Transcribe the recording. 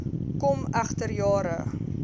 kom egter jare